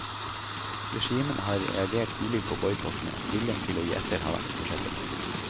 Regimene har reagert ulikt på boikottene, viljen til å gi etter har vært forskjellig.